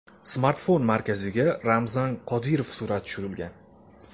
Smartfon markaziga Ramzan Qodirov surati tushirilgan.